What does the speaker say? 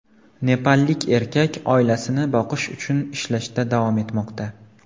Nepallik erkak oilasini boqish uchun ishlashda davom etmoqda.